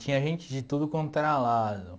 Tinha gente de tudo quanto era lado.